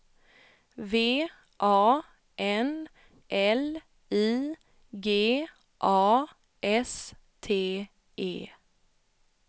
V A N L I G A S T E